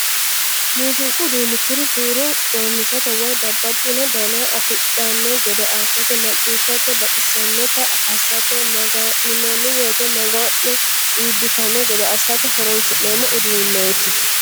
Muziiqu uduuni kuri huuro coomishate woyi babbaxxino dana afidhano gede assate macciishshate baxisanotta assate maga'ninanni woyte maga'no iibbittano gede assate horonsi'neemmo uduuneti.